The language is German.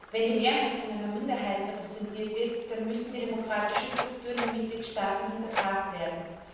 Wenn die Mehrheit von einer Minderheit repräsentiert wird, dann müssen die demokratischen Strukturen der Mitgliedstaaten hinterfragt werden.